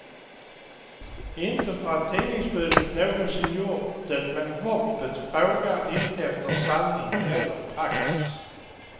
Inte för att tidningsbudet någonsin gjort det men hoppet frågar inte efter sanning eller praxis.